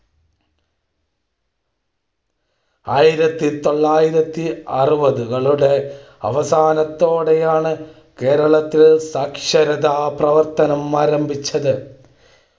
ആയിരത്തി തൊള്ളായിരത്തി അറുപതുകളുടെ അവസാനത്തോടെയാണ് കേരളം ത്തിൽ സാക്ഷരതാപ്രവർത്തനം ആരംഭിച്ചത്.